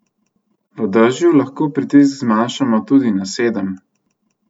V dežju lahko pritisk zmanjšamo tudi na sedem.